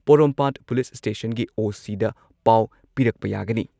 ꯄꯣꯔꯣꯝꯄꯥꯠ police ꯁ꯭ꯇꯦꯁꯟꯒꯤ ꯑꯣ.ꯁꯤꯗ ꯄꯥꯎ ꯄꯤꯔꯛꯄ ꯌꯥꯒꯅꯤ ꯫